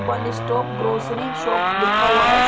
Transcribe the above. One stop grocery shop लिखा हुआ है।